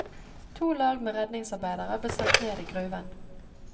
To lag med redningsarbeidere ble sendt ned i gruven.